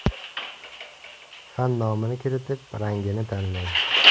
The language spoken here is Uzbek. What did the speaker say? Fan nomini kiritib, rangini tanlang.